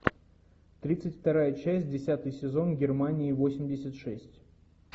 тридцать вторая часть десятый сезон германия восемьдесят шесть